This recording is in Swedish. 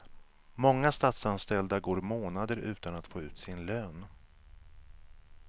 Många statsanställda går månader utan att få ut sin lön.